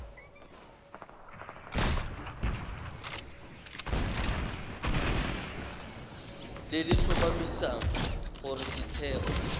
le le tlhomamisang gore setheo